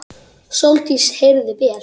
Sóldís heyrði vel.